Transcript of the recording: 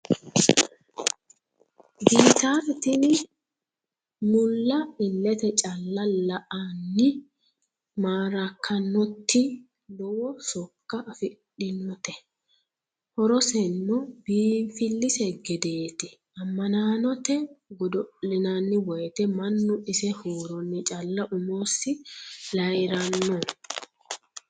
Gittare xa tinni mulla iillette calla la'eenna maarakkannotti lowo sokko afidhinnotte horosenno biiffilisse geedeetti ammannannotte godo'linaanni woyiitte mannu ise huuronni calla umosi layiiranno